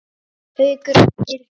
Haukur og Hildur.